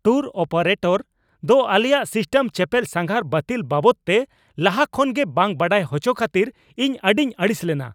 Tour operator ᱫᱚ ᱟᱞᱮᱭᱟᱜ ᱥᱤᱥᱴᱤᱱ ᱪᱮᱹᱯᱮᱞ ᱥᱟᱸᱜᱷᱟᱨ ᱵᱟᱹᱛᱤᱞ ᱵᱟᱵᱚᱫᱛᱮ ᱞᱟᱦᱟ ᱠᱷᱚᱱᱜᱮ ᱵᱟᱝ ᱵᱟᱲᱟᱭ ᱦᱚᱪᱚ ᱠᱷᱟᱹᱛᱤᱨ ᱤᱧ ᱟᱹᱰᱤᱧ ᱟᱹᱲᱤᱥ ᱞᱮᱱᱟ ᱾